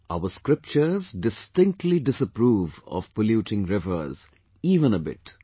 Our scriptures distinctly disapprove of polluting rivers, even a bit